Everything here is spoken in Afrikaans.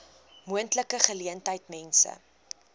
moontlike geleentheid mense